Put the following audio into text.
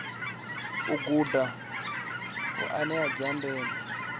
a guda hoea dza ndeme